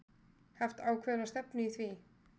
Haft ákveðna stefnu í því?